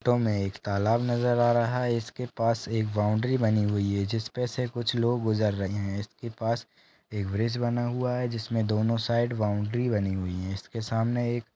Photo में एक तालाब नज़र आ रहा है। इस के पास एक बाउंड्री बनी हुई है। जिस पे से कुछ लोग गुज़र रहे है। इसके पास एक ब्रिज बना हुआ है। जिस में दोनों साइड बाउंड्री बनी हुईं है। इसके सामने एक--